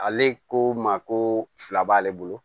Ale ko ma ko fila b'ale bolo